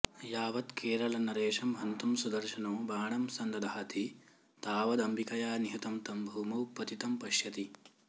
यावत्केरलनरेशं हन्तुं सुदर्शनो बाणं सन्दधाति तावदम्बिकया निहतं तं भूमौ पतितं पश्यति